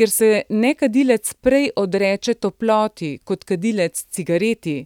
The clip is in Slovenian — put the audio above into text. Ker se nekadilec prej odreče toploti kot kadilec cigareti,